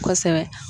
Kosɛbɛ